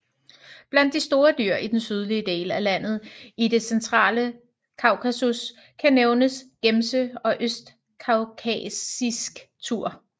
Blandt de store dyr i den sydlige del af landet i det centrale Kaukasus kan nævnes gemse og østkaukasisk tur